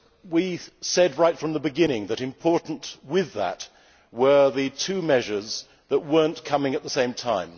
We said right from the beginning that important with that were the two measures that were not coming at the same time.